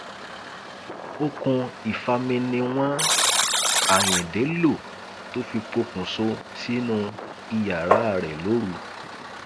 okùn ìfami ni wọn ayíǹde lò tó fi pokùṣọ sínú iyàrá rẹ lóru